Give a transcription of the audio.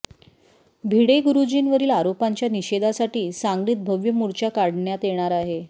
भिडे गुरुजींवरील आरोपांच्या निषेधासाठी सांगलीत भव्य मोर्चा काढण्यात येणार आहे